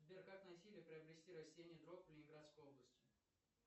сбер как найти или приобрести растение дрок в ленинградской области